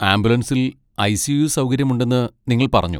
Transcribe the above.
ആംബുലൻസിൽ ഐ.സി.യു. സൗകര്യമുണ്ടെന്ന് നിങ്ങൾ പറഞ്ഞു.